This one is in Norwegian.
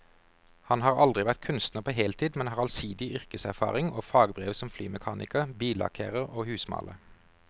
Han har aldri vært kunstner på heltid, men har allsidig yrkeserfaring og fagbrev som flymekaniker, billakkerer og husmaler.